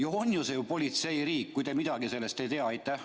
Siis see on ju politseiriik, kui teie sellest midagi ei tea.